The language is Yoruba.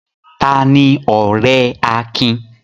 Ta ni ọ̀rẹ́ Akin?